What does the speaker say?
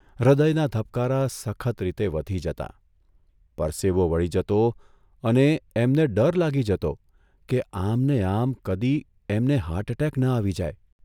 હૃદયના ધબકારા સખત રીતે વધી જતાં, પરસેવો વળી જતો અને એમને ડર લાગી જતો કે આમને આમ કદી એમને હાર્ટએટેક ન આવી જાય !